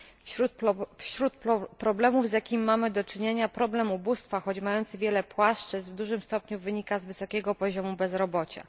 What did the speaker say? Wśród problemów, z jakimi mamy do czynienia, problem ubóstwa, choć mający wiele płaszczyzn, w dużym stopniu wynika z wysokiego poziomu bezrobocia.